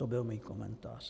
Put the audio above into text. To byl můj komentář.